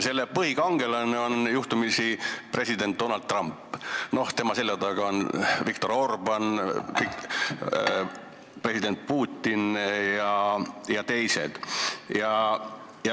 Selle põhikangelane on juhtumisi president Donald Trump, tema selja taga on Viktor Orbán, president Putin ja teised.